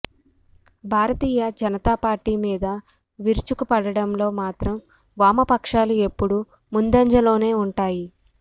భారతీయ Janata Party మీద విరుచుకుపడడంలో మాత్రం వామపక్షాలు ఎప్పుడూ ముందంజలోనే ఉంటాయి